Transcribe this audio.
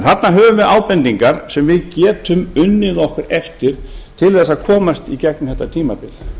þarna höfum við ábendingar sem við getum unnið nokkuð eftir til að komast í gegnum þetta tímabil